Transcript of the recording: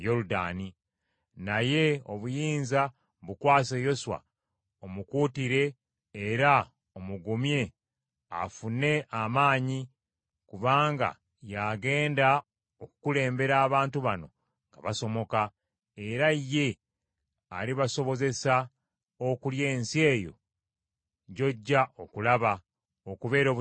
Naye obuyinza bukwase Yoswa, omukuutire era omugumye afune amaanyi, kubanga y’agenda okukulembera abantu bano nga basomoka, era ye alibasobozesa okulya ensi eyo gy’ojja okulaba, okubeera obutaka bwabwe.”